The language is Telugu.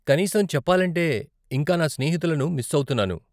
కనీసం చెప్పాలంటే, ఇంకా, నా స్నేహితులను మిస్ అవుతున్నాను.